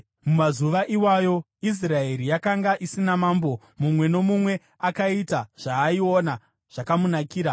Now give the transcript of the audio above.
Mumazuva iwayo Israeri yakanga isina mambo; mumwe nomumwe akaita zvaaiona zvakamunakira.